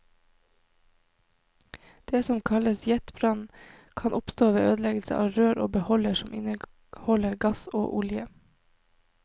Det som kalles jetbrann, kan oppstå ved ødeleggelse av rør og beholdere som inneholder gass og olje.